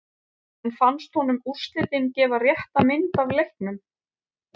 En fannst honum úrslitin gefa rétta mynd af leiknum?